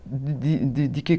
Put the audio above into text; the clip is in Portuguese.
De de quê?